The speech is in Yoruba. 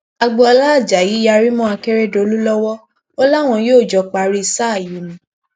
agboola ajayi yarí mọ akérèdọlù lọwọ ó láwọn yóò jọ parí sáà yìí ni